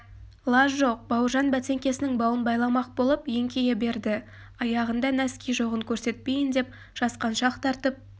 лаж жоқ бауыржан бәтеңкесінің бауын байламақ болып еңкейе берді аяғында нәски жоғын көрсетпейін деп жасқаншақ тартып